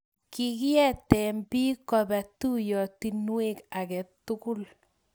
kikiete biik koba tuyiotinwek age tugul